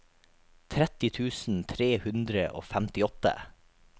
tretti tusen tre hundre og femtiåtte